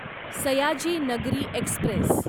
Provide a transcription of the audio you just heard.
Sayaji Nagari Express